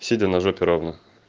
сидя на жопе ровно